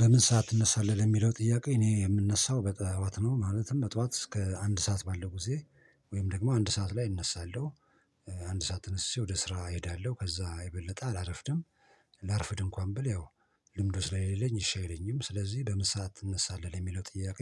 በምን? ሰዓት ትነሳለህ ለሚለው ጥያቄ እኔ የምነሳው በጧዋት ነው ማለትም በጧዋት እስከ አንድ ሰዓት ባለው ጊዜ ወይም ደግሞ አንድ ሰዓት ላይ እነሳለሁ። አንድ ሰዓት ተነስቼ ወደ ስራ እሄዳለሁ ከዛ የበለጠ አላረፍድም። ላርፍድ እንኳን ብል ያው ልምዱ ስለሌለኝ እሺ አይለኝም። ስለዚህ በምን ሳዓት ትነሳለህ? ለሚለው ጥያቄ